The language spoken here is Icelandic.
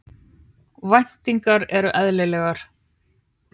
Væntingarnar eru eðlilegar